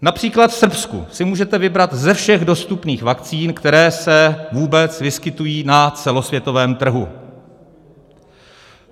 Například v Srbsku si můžete vybrat ze všech dostupných vakcín, které se vůbec vyskytují na celosvětovém trhu.